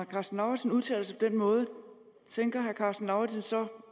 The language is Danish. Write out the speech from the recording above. karsten lauritzen udtaler sig på den måde tænker herre karsten lauritzen så